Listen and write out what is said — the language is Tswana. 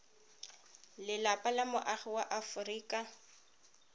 lelapa la moagi wa aforika